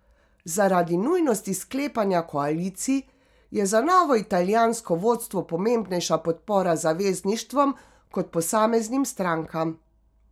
Zaradi nujnosti sklepanja koalicij je za novo italijansko vodstvo pomembnejša podpora zavezništvom kot posameznim strankam.